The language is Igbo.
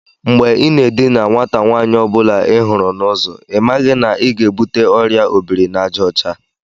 Mgbe i na edina nwata nwaanyi ọ bụla ihuru n'uzo, ị maghị na ị ga-ebute Ọrịa obiri-na-aja ocha?